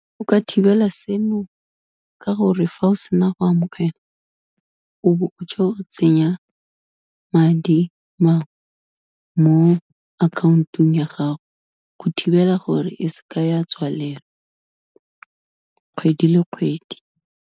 O ka thibela seno ka gore, fa o sena go amogela, o bo o tswa o tsenya madi mangwe mo account-ong ya gago, go thibela gore e se ka ya tswalelwa, kgwedi le kgwedi.